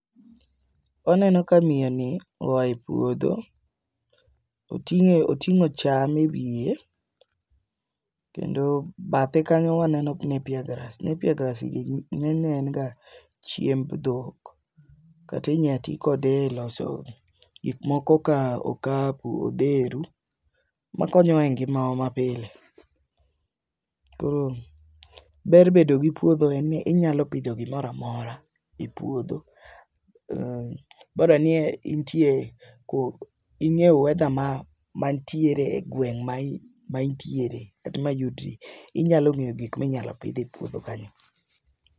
waneno ka miyo ni oaye puodho. Oting'o oting'o cham ewiye kendo bathe kanyo waneno napier grass , nappier grass gi ng'enyne en ga chiemb dhok . Kati nya ti kode e lose kik moko kaka okapu, odheru makonyo e ngima wa ma pile. Koro ber bedo gi puodho en ni inyalo pidho gimoramora e puodho bora ni intie ing'e weather ma mantiere e gweng' ma ma intiere kata ma iyudri . Inyalo ng'eyo gik minyalo pidh e puodho kanyo.